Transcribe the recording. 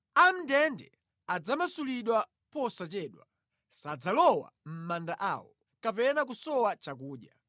Amʼndende adzamasulidwa posachedwa; sadzalowa mʼmanda awo, kapena kusowa chakudya.